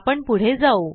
आपण पुढे जाऊ